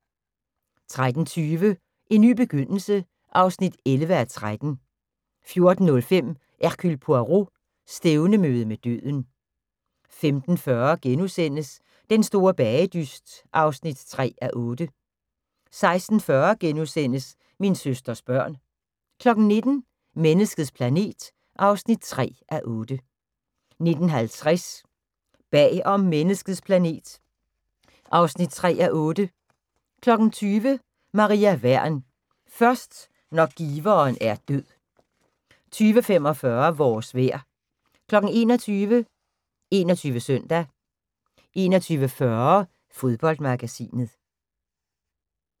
13:20: En ny begyndelse (11:13) 14:05: Hercule Poirot: Stævnemøde med døden 15:40: Den Store Bagedyst (3:8)* 16:40: Min søsters børn * 19:00: Menneskets planet (3:8) 19:50: Bag om menneskets planet (3:8) 20:00: Maria Wern: Først når giveren er død 20:45: Vores vejr 21:00: 21 Søndag 21:40: Fodboldmagasinet